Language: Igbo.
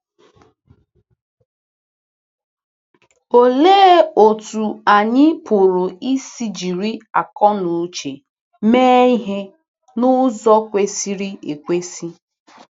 Olee otú anyị pụrụ isi jiri akọnuche mee ihe n’ụzọ kwesịrị ekwesị?